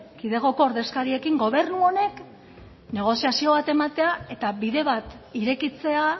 kidegoko ordezkariekin gobernu honek negoziazio bat ematea eta bide bat irekitzea